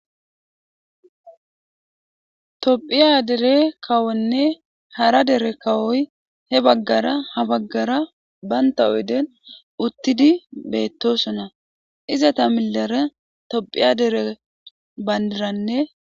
tophiya dere kawonne hara dere kawoy he baggara ha baggara banta oyden uttidi beettosona iza ta millare tophiya dere bandiranne